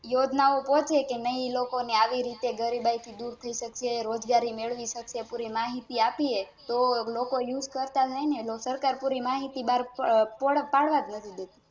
યોજના પોચેકે નહિ લોકો ને આવી રીતે ગરીબાઈ દૂર થઈ સકે રોજગારી મેળવી સકે પૂરી માહિતી આપીએ તો લોકો Use કરતા થાય ને સરકાર પૂરી માહિતી બાર પાડવાજ નથી દેતી